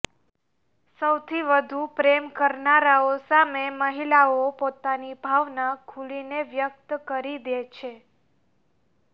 સૌથી વધુ પ્રેમ કરનારાઓ સામે મહિલાઓ પોતાની ભાવના ખુલીને વ્યક્ત કરી દે છે